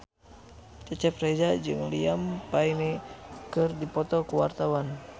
Cecep Reza jeung Liam Payne keur dipoto ku wartawan